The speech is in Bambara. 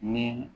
Ni